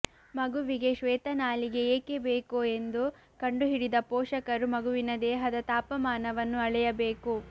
ಮಗುವಿಗೆ ಶ್ವೇತ ನಾಲಿಗೆ ಏಕೆ ಬೇಕು ಎಂದು ಕಂಡು ಹಿಡಿದು ಪೋಷಕರು ಮಗುವಿನ ದೇಹದ ತಾಪಮಾನವನ್ನು ಅಳೆಯಬೇಕು